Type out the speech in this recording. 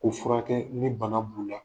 O furakɛ ni bana b'u la.